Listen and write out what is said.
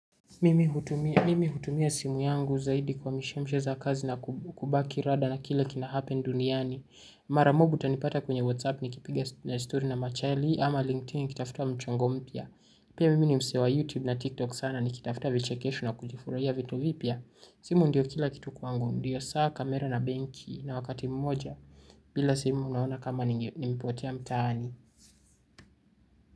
Mimi hutumia simu yangu zaidi kwa mishemshe za kazi na kubaki rada na kile kinahappen duniani. Mara mob utanipata kwenye whatsapp nikipiga na story na machali ama linkedin nikitafutua mchongo mpya. Pia mimi ni mse wa youtube na tiktok sana nikitafuta vichekesho na kujifuraia vitu vipya. Simu ndio kila kitu kwangu ndio saa kamera na benki na wakati mmoja. Bila simu unaona kama nimepotea mtaani.